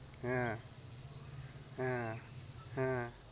হ্যাঁ, হ্যাঁ হ্যাঁ